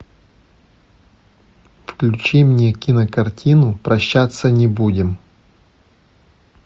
включи мне кинокартину прощаться не будем